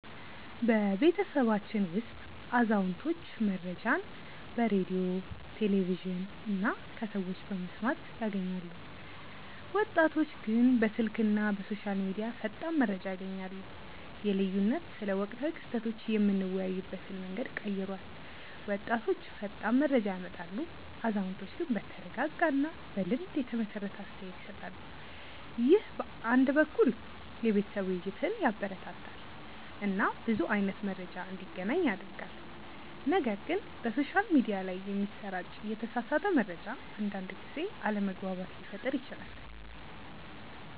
በቤተሰባችን ውስጥ አዛውንቶች መረጃን በሬዲዮ፣ ቴሌቪዥን እና ከሰዎች በመስማት ያገኛሉ፣ ወጣቶች ግን በስልክ እና በሶሻል ሚዲያ ፈጣን መረጃ ያገኛሉ። ይህ ልዩነት ስለ ወቅታዊ ክስተቶች የምንወያይበትን መንገድ ቀይሯል፤ ወጣቶች ፈጣን መረጃ ያመጣሉ፣ አዛውንቶች ግን በተረጋጋ እና በልምድ የተመሰረተ አስተያየት ይሰጣሉ። ይህ አንድ በኩል የቤተሰብ ውይይትን ያበረታታል እና ብዙ አይነት መረጃ እንዲገናኝ ያደርጋል፣ ነገር ግን በሶሻል ሚዲያ ላይ የሚሰራጭ የተሳሳተ መረጃ አንዳንድ ጊዜ አለመግባባት ሊፈጥር ይችላል